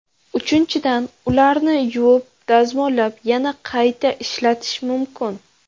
Uchinchidan ularni yuvib, dazmollab yana qayta ishlatish mumkin.